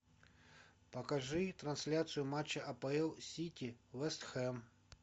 покажи трансляцию матча апл сити вестхэм